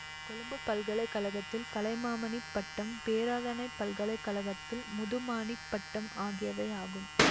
கொழும்பு பல்கலை கழகத்தில் கலைமாமணி பட்டம் பேராதனை பல்கலை கழகத்தில் முதுமாணிப்பட்டம் ஆகியவை ஆகும்